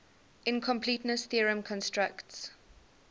incompleteness theorem constructs